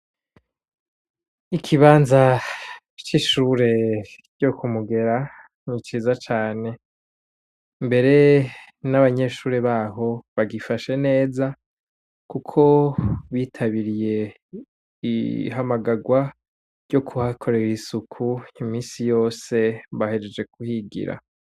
Ikibanza c'ishure ryo kumugera ni ciza cane, mbere n'abanyeshuri baho bagifashe neza kuko bitabiriye ihamagagwa ryo kuhakorera isuku imisi yose bahejeje kuhigira.